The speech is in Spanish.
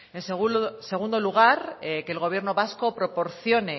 en segundo lugar que el gobierno vasco proporcione